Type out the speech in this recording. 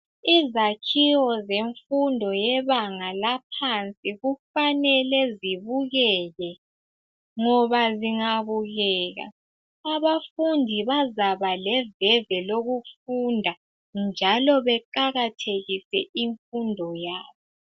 Izakhiwo zemfundo yebanga laphansi kufanele zibukeke. Ngoba zingabukeka abafundi bazaba leveve lokufunda njalo beqakathekise imfundo yabo.